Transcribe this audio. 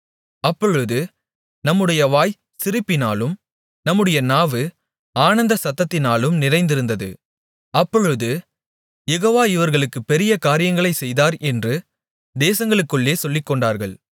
அப்பொழுது நம்முடைய வாய் சிரிப்பினாலும் நம்முடைய நாவு ஆனந்தசத்தத்தினாலும் நிறைந்திருந்தது அப்பொழுது யெகோவா இவர்களுக்குப் பெரிய காரியங்களைச் செய்தார் என்று தேசங்களுக்குள்ளே சொல்லிக்கொண்டார்கள்